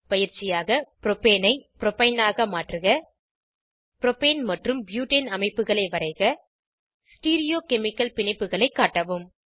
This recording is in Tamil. பயிற்சியாக ப்ரோப்பேனை ப்ரோப்பைனாக மாற்றுக ப்ரோப்பேன் மற்றும் ப்யூட்டேன் அமைப்புகளை வரைக ஸ்டீரியோகெமிகல் பிணைப்புகளை காட்டவும்